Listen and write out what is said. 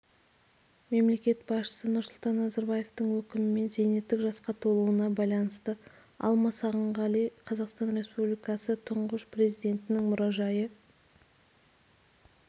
мемлекет басшысы нұрсұлтан назарбаевтың өкімімен зейнеттік жасқа толуына байланысты алма сағынғали қазақстан республикасы тұңғыш президентінің мұражайы